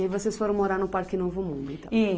E vocês foram morar no Parque Novo Mundo, então?